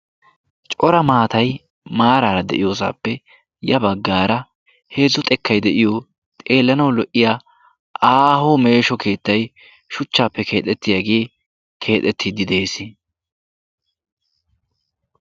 cora maatai maaraara de7iyoosaappe ya baggaara heezzu xekkai de7iyo xeellanau lo77iya aaho meesho keettai shuchchaappe keexettiyaagee keexettiiddi de7ees